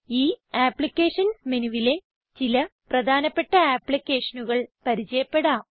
ഈ അപ്ലിക്കേഷൻസ് മെനുവിലെ ചില പ്രധാനപ്പെട്ട ആപ്പ്ളിക്കേഷനുകൾ പരിചയപ്പെടാം